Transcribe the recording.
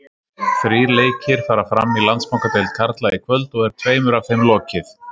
Þrír leikir fara fram í Landsbankadeild karla í kvöld og er tveimur af þeim lokið.